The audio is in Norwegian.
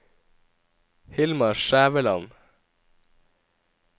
Hilmar Skjæveland